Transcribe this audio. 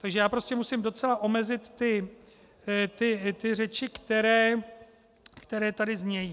Takže já prostě musím docela omezit ty řeči, které tady znějí.